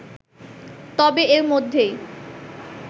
তবে এর মধ্যেই